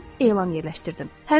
Və mən elan yerləşdirdim.